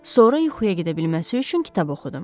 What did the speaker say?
Sonra yuxuya gedə bilməsi üçün kitab oxudum.